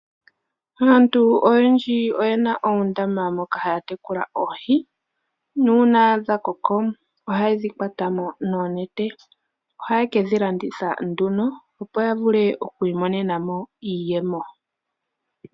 Aantu oyendji oyena oondama moka haya tekula oohi, nuuna dha koko ohaye dhi kwata mo noonete. Oha ye ke dhi landitha nduno opo ya vule oku imonena iiyemo.